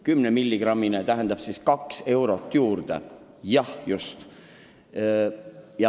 10-milligrammine kogus läks seega 2 eurot kallimaks.